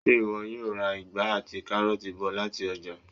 Ṣé ìwọ yóò ra ìgbá àti káróọ̀ti bọ̀ lati ọ́jà?